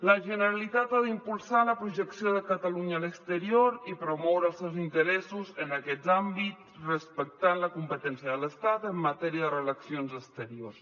la generalitat ha d’impulsar la projecció de catalunya a l’exterior i promoure els seus interessos en aquest àmbit respectant la competència de l’estat en matèria de relacions exteriors